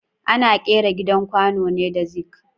Ana ƙera gidan kwano ne da zing